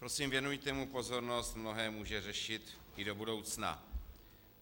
Prosím, věnujte mu pozornost, mnohé může řešit i do budoucna.